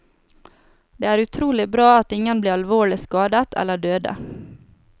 Det er utrolig bra at ingen ble alvorlig skadet eller døde.